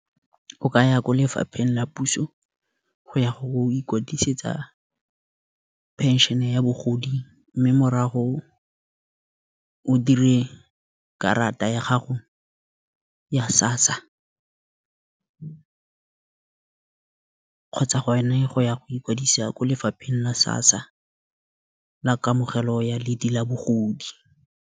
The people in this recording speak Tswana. O ka ya ko lefapheng la puso go ya go ikwadisetsa phenšhene ya bogodi, mme morago o dire karata ya gago SASA kgotsa gone go ya go ikwadisa ko lefapheng la SASA la kamogelo ya ledi la bogodi.